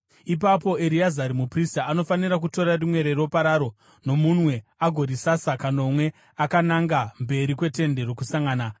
Ipapo Ereazari muprista anofanira kutora rimwe reropa raro nomunwe agorisasa kanomwe akananga mberi kweTende Rokusangana.